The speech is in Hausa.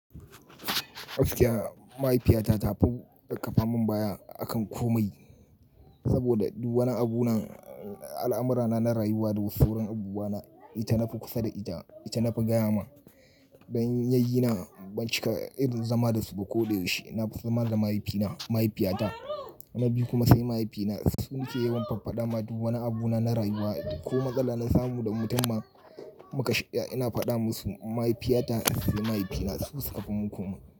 Gaskiya, mahaifiyata ta fi da kafa mun baya akan komai. Saboda duk wani abu na al'amurana na rayuwa da wasu wurin ubuwana ita na fi kusa da ita, ita nafi gaya ma ban yi na baci irin zama dasu ba ko da yaushe. Na fi zama da mahaifina, mahaifiyata na biyu kuma sai mahaifina. Su nike yawan fafadama duk wani abu na na rayuwa ko matsala na samu da mutum ma muka shirya ina fada musu. Mahaifiyata sai mahaifina su suka fi mun komai.